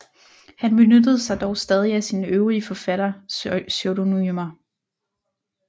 Han benyttede sig dog stadig af sine øvrige forfatterpseudonymer